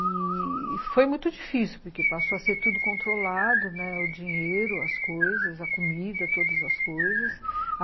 E foi muito difícil, porque passou a ser tudo controlado, né, o dinheiro, as coisas, a comida, todas as coisas.